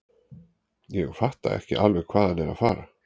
Ég fatta ekki alveg hvað hann er að fara.